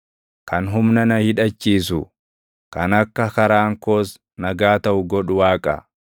Kan humna na hidhachiisu, kan akka karaan koos nagaa taʼu godhu Waaqa.